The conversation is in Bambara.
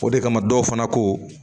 O de kama dɔw fana ko